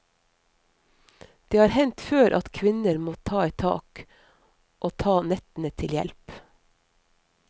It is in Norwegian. Det har hendt før at kvinner må ta et tak, og ta nettene til hjelp.